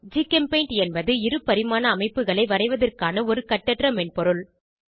ஜிகெம்பெய்ண்ட் என்பது இருபரிமாண அமைப்புகளை வரைவதற்கான ஒரு கட்டற்ற மென்பொருள்